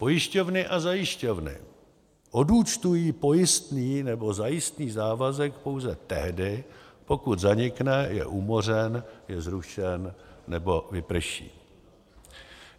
Pojišťovny a zajišťovny odúčtují pojistný nebo zajistný závazek pouze tehdy, pokud zanikne, je umořen, je zrušen nebo vyprší.